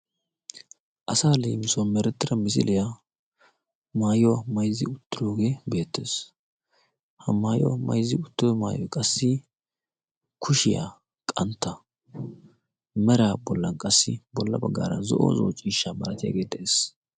asa leemisuwaa merettira misiiliyaa maayuwaa maizzi uttiroogee beettees. ha maayuwaa maizzi uttoo maayoi qassi kushiyaa qantta mera bollan qassi bolla baggaara zo7o zo7o ciishsha maratiyaagee de7ees.